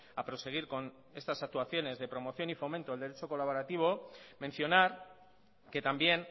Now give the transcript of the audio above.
a proseguir con estas actuaciones de promoción y fomento del derecho colaborativo mencionar que también